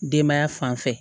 Denbaya fanfɛ